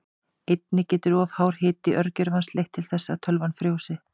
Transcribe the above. Einnig getur of hár hiti örgjörvans leitt til þess að tölvan frjósi.